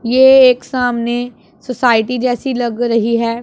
यह एक सामने सोसाइटी जैसी लग रही है।